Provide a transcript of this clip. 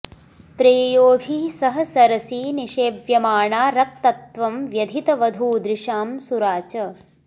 प्रेयोभिः सह सरसी निषेव्यमाणा रक्तत्वं व्यधित वधूदृशां सुरा च